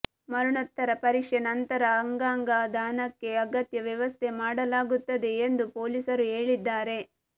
ಮರಣೋತ್ತರ ಪರೀಕ್ಷೆ ನಂತರ ಅಂಗಾಗ ದಾನಕ್ಕೆ ಅಗತ್ಯ ವ್ಯವಸ್ಥೆ ಮಾಡಲಾಗುತ್ತದೆ ಎಂದು ಪೊಲೀಸರು ಹೇಳಿದ್ದಾರೆ